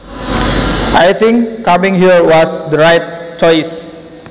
I think coming here was the right choice